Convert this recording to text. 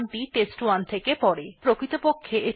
কিন্তু প্রকৃতপক্ষে এটা জানে না যে standardin ই কোথা থেকে তথ্য আসছে